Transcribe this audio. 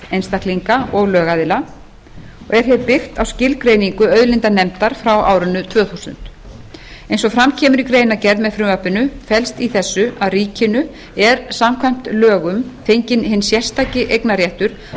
einstaklinga og lögaðila og er hér byggt á skilgreiningu auðlindanefndar frá árinu tvö þúsund eins og fram kemur í greinargerð með frumvarpinu felst í þessu að ríkinu er samkvæmt lögum fenginn hinn sérstaki eignarréttur